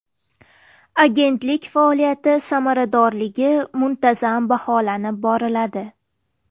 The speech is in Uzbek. Agentlik faoliyati samaradorligi muntazam baholanib boriladi.